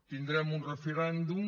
tindrem un referèndum